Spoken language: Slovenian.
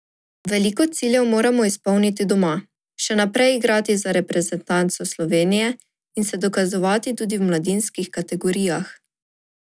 Veliko ciljev moram izpolniti doma, še naprej igrati za reprezentanco Slovenije in se dokazovati tudi v mladinskih kategorijah.